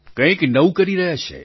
કંઈક નવું કરી રહ્યા છે